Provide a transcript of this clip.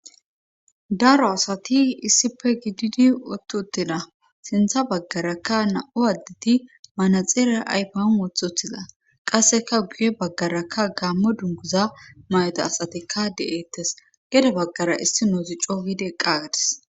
Daro asati issife gididi wothtu uttina sintha baggarakka na'u addeti manaxeera aypion wothothiza qasseka guye baggarakka gaammo dunguza mayota asatikka de'eettes gede baggara issi noozi coowideqqa gadis.